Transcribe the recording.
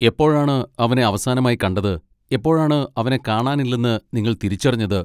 എപ്പോഴാണ് അവനെ അവസാനമായി കണ്ടത്, എപ്പോഴാണ് അവനെ കാണാനില്ലെന്ന് നിങ്ങൾ തിരിച്ചറിഞ്ഞത്?